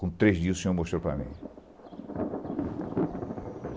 Com três dias, o senhor mostrou para mim.